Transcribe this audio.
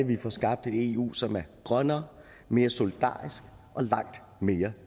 vi får skabt et eu som er grønnere mere solidarisk og langt mere